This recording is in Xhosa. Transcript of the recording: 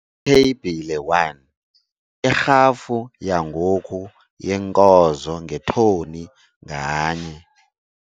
Itheyibhile 1- Irhafu yangoku yeenkozo ngetoni nganye.